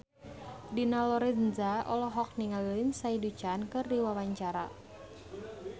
Dina Lorenza olohok ningali Lindsay Ducan keur diwawancara